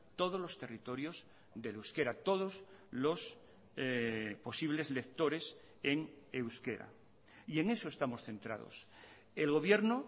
todos los territorios del euskera todos los posibles lectores en euskera y en eso estamos centrados el gobierno